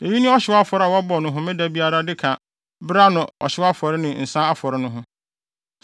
Eyi ne ɔhyew afɔre a wɔbɔ no homeda biara de ka bere ano ɔhyew afɔre ne nsa afɔre ho no.